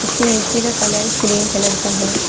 इसके नीचे का कलर क्रीम कलर का है।